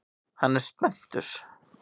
Hann er spenntur.